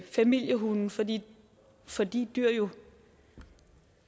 familiehunde fordi fordi dyr jo